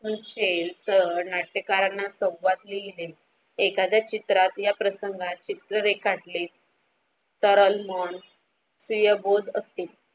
आपण ते तर नाट्यकारांना संवाद लिहिले एखादा चित्रात या प्रसंगाचे चित्र रेखाटले सरल मोन प्रिया भोग असते.